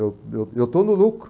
Eu eu eu estou no lucro.